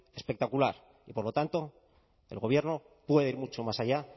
espectacular y por lo tanto el gobierno pueda ir mucho más allá